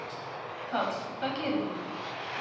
Páll: Hvað gerið þið?